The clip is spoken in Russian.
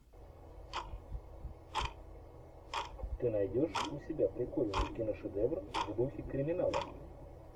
ты найдешь у себя прикольный киношедевр в духе криминала